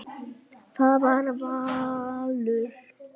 Það var valur.